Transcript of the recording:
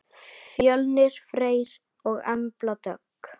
Fjölnir Freyr og Embla Dögg.